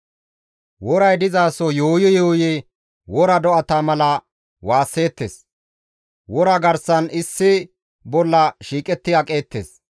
Woray dizaso yuuyi yuuyi wora do7ata mala waasseettes; wora garsan issi bolla shiiqetti aqeettes.